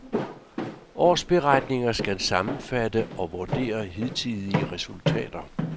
Årsberetninger skal sammenfatte og vurdere hidtidige resultater.